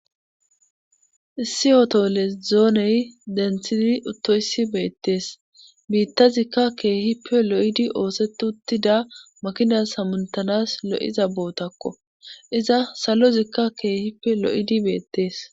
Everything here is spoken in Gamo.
issi oto les dzooney dentshini uttoyssi beettees biittazikka keehippe lo7idi ooset uttida makinas hamuntanas lo7iza bootakko iza salozikka keehippe lo7idi beettees